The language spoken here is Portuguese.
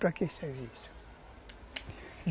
Para que serve isso